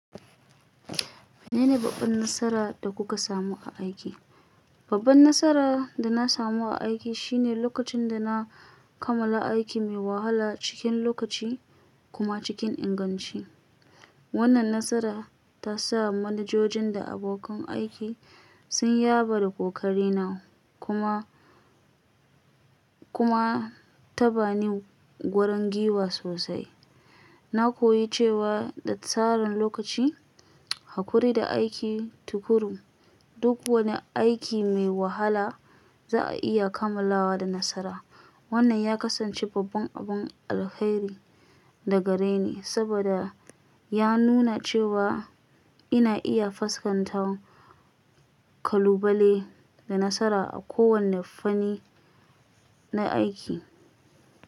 Menene babban nasara da kuka samu a aiki? Babban nasara da na samu a aiki shine lokacin da na kammala aiki mai wahala cikin lokaci kuma cikin inganci. Wannan nasara ta sa manajojin da abokan aiki sun yaba da kokarina kuma, kuma ta bani wurin giwa sosai. Na koyi cewa da tsarin lokaci, haƙuri da aiki tukuru, duk wani aiki mai wahala za a iya kammalawa da nasara. Wannan ya kasance babban abun alheri daga gare ni saboda ya nuna cewa ina iya fuskantar kalubale da nasara a kowane fanni na aiki.